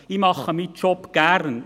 Ich mache meinen Job gern;